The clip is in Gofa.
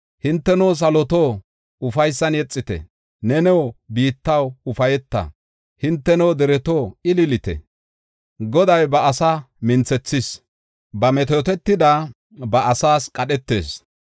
Hinteno saloto, ufaysan yexite; neno biittaw ufayta. Hinteno dereto, ililite! Goday ba asa minthethis; ba metootetida ba asaas qadhetis.